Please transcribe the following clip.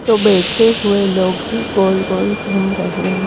तो बैठे हुए लोग भी गोल-गोल घूम रहे हैं।